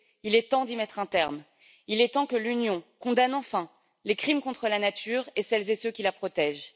il est temps d'y mettre un terme et il est temps que l'Union condamne enfin les crimes contre la nature et contre celles et ceux qui la protègent.